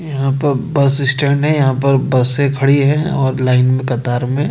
यहां पर bus stand है यहां पर बसें खड़ी हैं और लाइन में कतार में--